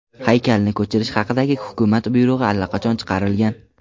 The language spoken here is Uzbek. Haykalni ko‘chirish haqidagi hukumat buyrug‘i allaqachon chiqarilgan.